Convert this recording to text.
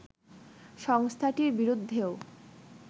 সংস্থাটির বিরুদ্ধেও